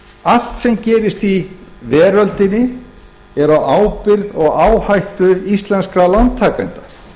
allt sem gerist í veröldinni er á ábyrgð og áhættu íslenskra lántakenda